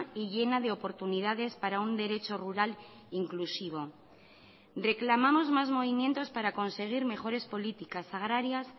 y llena de oportunidades para un derecho rural inclusivo reclamamos más movimientos para conseguir mejores políticas agrarias